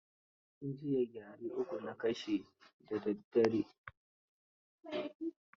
Jiya gyare uku na kashe da daddare.